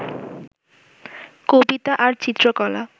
কবিতা আর চিত্রকলা